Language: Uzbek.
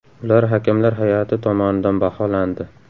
Ular hakamlar hay’ati tomonidan baholandi.